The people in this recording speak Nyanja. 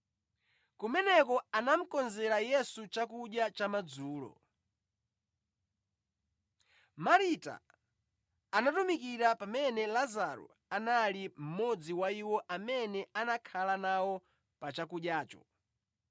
Kumeneko anamukonzera Yesu chakudya cha madzulo. Marita anatumikira pamene Lazaro anali mmodzi wa iwo amene anakhala nawo pa chakudyacho.